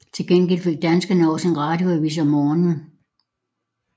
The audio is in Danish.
Til gengæld fik danskerne også en radioavis om morgenen